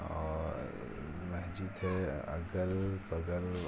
और मस्जिद है अगल बगल --